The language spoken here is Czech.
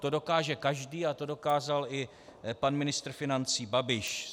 To dokáže každý a to dokázal i pan ministr financí Babiš.